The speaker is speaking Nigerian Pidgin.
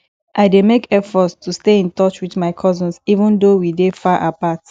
i dey make effort to stay in touch with my cousins even though we dey far apart